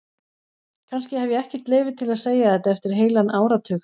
Kannski hef ég ekkert leyfi til að segja þetta eftir heilan áratug.